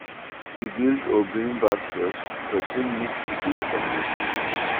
To build or bring back trust, person need to dey honest